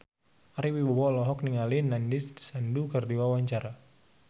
Ari Wibowo olohok ningali Nandish Sandhu keur diwawancara